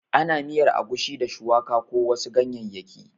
Ana miyar agushi da shuwaka ko wasu ganyayyaki